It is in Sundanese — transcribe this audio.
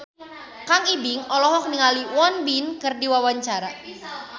Kang Ibing olohok ningali Won Bin keur diwawancara